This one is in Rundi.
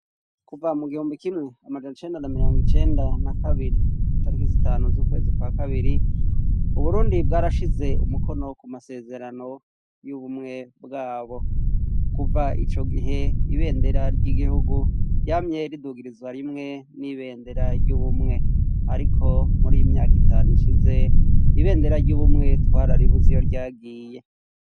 Kuva mu gihumbi kimwe amajan' icenda na miryang' icenda na kabiri, itiki zitanu z'ukwezi kwa kabiri ,Uburundi bwarashize umukono ku masezerano y'ubumwe bwabo ,kuva ico gihe ibendera ry'igihugu ryamye ridugirizwa rimwe n'ibendera ry'ubumwe ariko muri iyi myaka itanu ishize, ibendera ry'ubumwe twararibuz'iyo ryagiye.